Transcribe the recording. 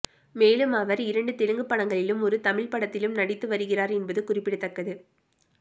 மேலும் அவர் இரண்டு தெலுங்கு படங்களிலும் ஒரு தமிழ் படத்திலும் நடித்து வருகிறார் என்பது குறிப்பிடத்தக்கது